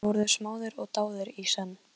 Edda er með Tómas í fanginu.